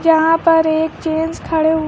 यहां पर एक जेंट्स खड़े--